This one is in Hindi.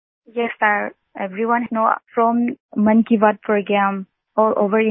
Vijayashanti ji yes sir everyone's know from Mann Ki Baat programme all over India